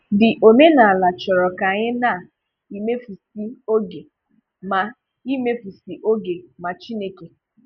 The omenàlà chọrọ ka anyị na imefùsì oge mà imefùsì oge mà Chineke.